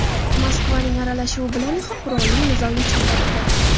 Moskvaning aralashuvi bilan esa qurolli nizo yechim topdi.